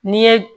N'i ye